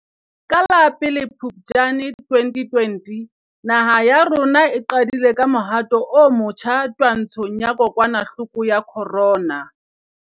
Ka la 01 Phuptjane 2020 naha ya rona e qadile ka mohato o motjha twantshong ya kokwanahloko ya corona.